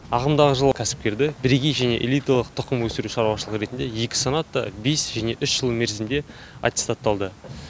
ағымдағы жылы кәсіпкерді бірегей және элиталық тұқым өсіру шаруашылығы ретінде екі санатта бес және үш жыл мерзімге аттестатталды